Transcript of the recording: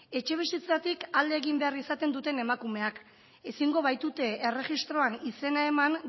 etxebizitzatik alde egin behar izaten duten emakumeak ezingo baitute erregistroan izena eman